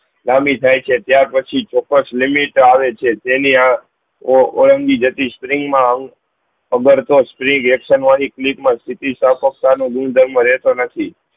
લાંબી થાય છે ત્યાર પછી ચૌક્કસ limit આવે છે જેની ઓમ્બી જતી spring મ ખબર તો spring aciton વાળી કલી મા હજ સ્થતિ સપ્ક્તા નું ગુણ ધર્મ રેહતો નથી